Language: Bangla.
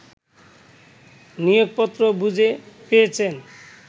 নিয়োগপত্র বুঝে পেয়েছেন